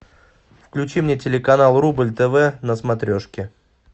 включи мне телеканал рубль тв на смотрешке